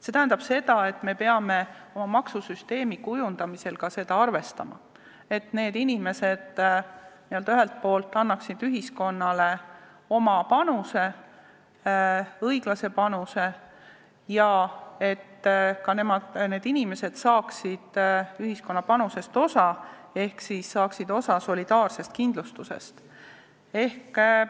See tähendab, et me peame oma maksusüsteemi kujundamisel arvestama ka seda, et need inimesed ühelt poolt annaksid ühiskonnale oma õiglase panuse ja et nad saaksid ka ühiskonna panusest osa ehk saaksid osa solidaarsest kindlustusest.